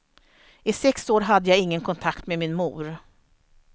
I sex år hade jag ingen kontakt med min mor.